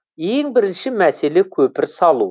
ең бірінші мәселе көпір салу